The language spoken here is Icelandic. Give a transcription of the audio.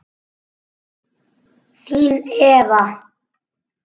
Þín Eva